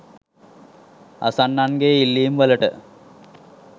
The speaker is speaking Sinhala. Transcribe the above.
අසන්නන්ගේ ඉල්ලීම් වලට